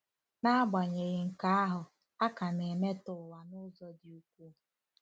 N'agbanyeghị nke ahụ, a ka na-emetọ ụwa n'ụzọ dị ukwuu.